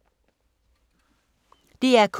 DR K